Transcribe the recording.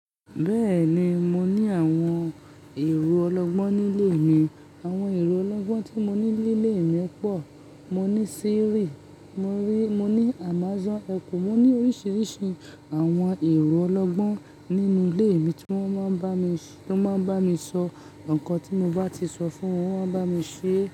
Bẹ́ẹ̀ni, mo ní àwọn èrò ọlọ́gbọ́n nílé mi. Àwọn èrò ọlọ́gbọ́n tí mo ní lile mi pọ̀. Mo ní Siri, mo ní Amazon Echo, mo ní oríṣiríṣi àwọn èrò ọlọ́gbọ́n nínú ilé mi tí wọ́n máa ń bá mi sọ nǹkan tí m bá ti sọ fún wọn, wọ́n máa ń bá mi ṣe é.